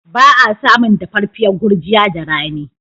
Ba a samun dafaffiyar gurjiya da rani.